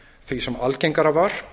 því sem algengara var